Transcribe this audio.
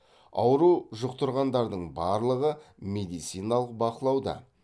ауру жұқтырғандардың барлығы медициналық бақылауда